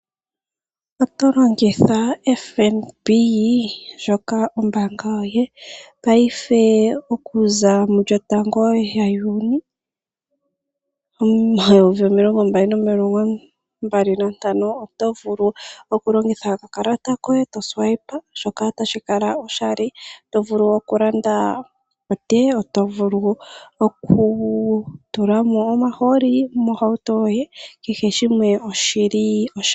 Oto longitha FNB ombaanga yoye, paife okuza 1 Juuni 2025, oto vulu oku longitha oka kalata koye oku nana shoka tashi kala oshali. Oto vulu oku landa otee, oto vulu oku tula mo omahooli mohauto yioye, kehe shimwe oshili oshali.